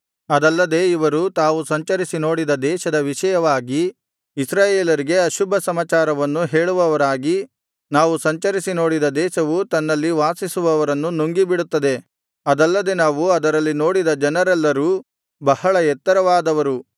ಅದಲ್ಲದೆ ಇವರು ತಾವು ಸಂಚರಿಸಿ ನೋಡಿದ ದೇಶದ ವಿಷಯವಾಗಿ ಇಸ್ರಾಯೇಲರಿಗೆ ಅಶುಭ ಸಮಾಚಾರವನ್ನು ಹೇಳುವವರಾಗಿ ನಾವು ಸಂಚರಿಸಿ ನೋಡಿದ ದೇಶವು ತನ್ನಲ್ಲಿ ವಾಸಿಸುವವರನ್ನು ನುಂಗಿಬಿಡುತ್ತದೆ ಅದಲ್ಲದೆ ನಾವು ಅದರಲ್ಲಿ ನೋಡಿದ ಜನರೆಲ್ಲರೂ ಬಹಳ ಎತ್ತರವಾದವರು